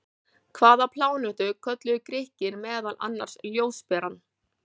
Hvaða plánetu kölluðu Grikkir meðal annars ljósberann?